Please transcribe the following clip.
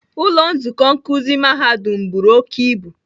Ụlọ nzukọ nkuzi mahadum buru oke ibu